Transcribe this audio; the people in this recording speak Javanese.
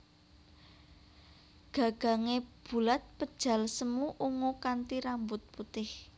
Gagangé bulat pejal semu ungu kanthi rambut putih